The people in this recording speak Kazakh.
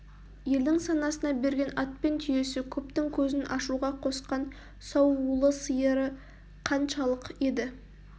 елдің санасына берген ат пен түйесі көптің көзін ашуға қосқан сауулы сиыры қаншалық еді